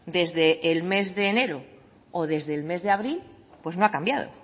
desde el mes de enero o desde el mes de abril pues no ha cambiado o